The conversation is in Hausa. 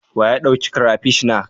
Wa ya ɗauk crapish na?